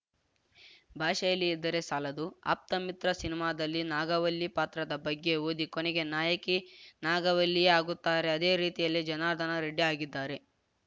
ಭಾಷೆಯಲ್ಲಿ ಇದ್ದರೆ ಸಾಲದು ಆಪ್ತಮಿತ್ರ ಸಿನಿಮಾದಲ್ಲಿ ನಾಗವಲ್ಲಿ ಪಾತ್ರದ ಬಗ್ಗೆ ಓದಿ ಕೊನೆಗೆ ನಾಯಕಿ ನಾಗವಲ್ಲಿಯೇ ಆಗುತ್ತಾರೆ ಅದೇ ರೀತಿಯಲ್ಲಿ ಜನಾರ್ದನ ರೆಡ್ಡಿ ಆಗಿದ್ದಾರೆ